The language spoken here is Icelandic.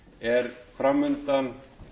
er fram undan